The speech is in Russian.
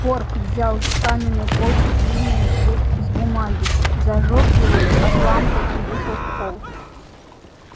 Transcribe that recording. порк взял с каменной полки длинный жгут из бумаги и зажёг его от лампы и вышел в холл